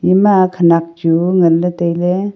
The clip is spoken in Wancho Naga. ima khenek chu ngan ley tailey.